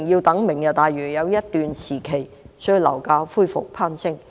待"明日大嶼"落成需要一段時間，所以樓價恢復攀升。